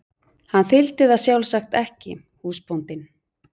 Hann þyldi það sjálfsagt ekki, húsbóndinn.